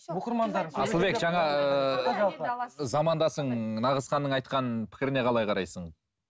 замандасың нағызханның айтқан пікіріне қалай қарайсың